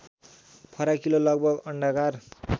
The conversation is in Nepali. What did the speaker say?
फराकिलो लगभग अण्डाकार